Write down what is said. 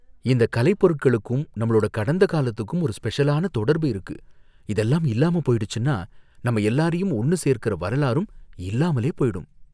இந்த கலைப்பொருட்களுக்கும் நம்மளோட கடந்த காலத்துக்கும் ஒரு ஸ்பெஷலான தொடர்பு இருக்கு, இதெல்லாம் இல்லாம போயிடுச்சுன்னா நம்ம எல்லாரையும் ஒண்ணு சேர்க்குற வரலாறும் இல்லாமலே போயிடும்.